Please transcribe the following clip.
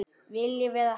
Viljum við hefnd?